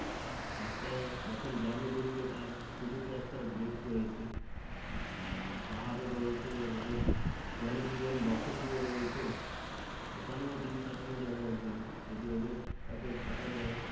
রাস্তায় যখন গ্রামে ঢুকবে তার শুরুতে একটা গেট রয়েছে আর পাহাড়ও রয়েছে ওদের জনজীবন বসতি ও রয়েছে ওখানেও দিন কাটানো যাবে এক দিন যদি ওদের সাথে থাকা যায়